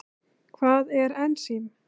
Hvað er ensím?